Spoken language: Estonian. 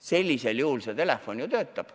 Sellisel juhul see teenus töötab.